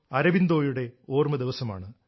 അരബിന്ദോയുടെ ഓർമ ദിവസമാണ്